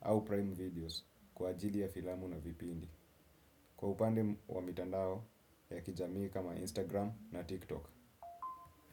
au Prime Videos kwa ajili ya filamu na vipindi. Kwa upande wa mitandao ya kijamii kama Instagram na TikTok.